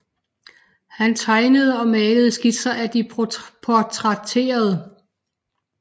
Han tegnede og malede skitser af de portrætterede